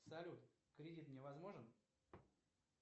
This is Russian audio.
салют кредит мне возможен